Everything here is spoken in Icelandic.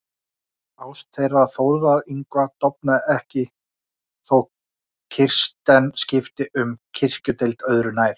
Ást þeirra Þórðar Yngva dofnaði ekki þó Kirsten skipti um kirkjudeild, öðru nær.